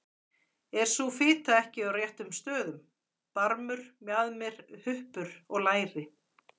Er sú fita ekki á réttum stöðum: barmur, mjaðmir, huppur og læri?